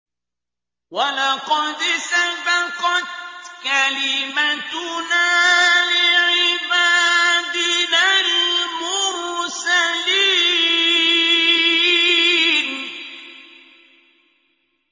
وَلَقَدْ سَبَقَتْ كَلِمَتُنَا لِعِبَادِنَا الْمُرْسَلِينَ